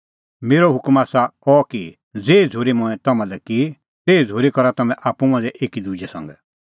मेरअ हुकम आसा अह कि ज़ेही झ़ूरी मंऐं तम्हां लै की तेही झ़ूरी करा तम्हैं आप्पू मांझ़ै एकी दुजै संघै